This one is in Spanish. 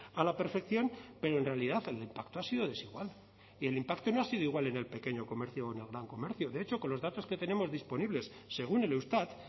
a la perfección pero en realidad el impacto ha sido desigual y el impacto no ha sido igual en el pequeño comercio o en el gran comercio de hecho con los datos que tenemos disponibles según el eustat